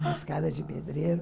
Uma escada de pedreiro.